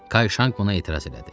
Kayşanq buna etiraz elədi.